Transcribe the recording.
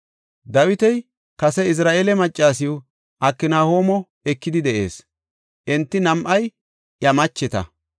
Dawiti kase Izira7eele maccasiw Aknahoomo ekidi de7ees; enti nam7ay iya macheta.